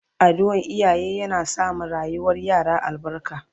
Addu'an iyaye yana sa ma rayuwar yara albarka